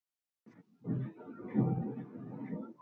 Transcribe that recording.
Tóti horfði flissandi á hana.